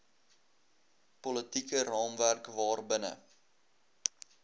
politieke raamwerk waarbinne